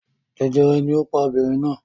Jẹjẹrẹ ni ó pa obìnrin náà!